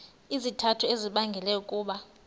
izizathu ezibangela ukuba